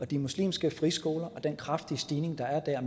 de muslimske friskoler og den kraftige stigning der er